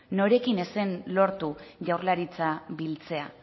norekin ez zen lortu jaurlaritza biltzea